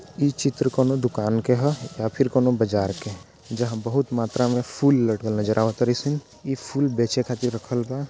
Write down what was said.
ई चित्र कोनों दुकान के हौ या फिर कोनों बजार के जहां बहुत मात्रा मे फूल लगल नजर आवत तारी सन ई फूल बेचे खातिर रखल बा।